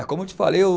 É, como eu te falei, eu